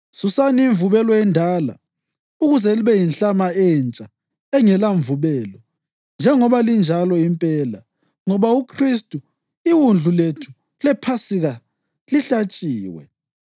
Susani imvubelo endala ukuze libe yinhlama entsha engelamvubelo, njengoba linjalo impela. Ngoba uKhristu, iwundlu lethu lePhasika, lihlatshiwe.